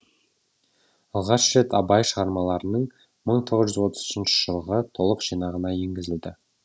алғаш рет абай шығармаларының мың тоғыз жүз отыз үшінші жылғы толық жинағына енгізілді